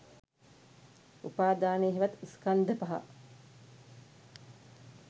උපාදානය හෙවත් ස්කන්ධ පහ